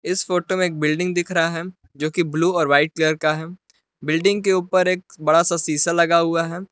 इस फोटो में एक बिल्डिंग दिख रहा है जो कि ब्लू और वाइट कलर का है बिल्डिंग के ऊपर एक बड़ा सा शीशा लगा हुआ है।